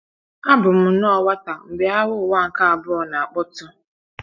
ABỤ m nnọọ nwata mgbe Agha Ụwa nke Abụọ na - akpọtụ.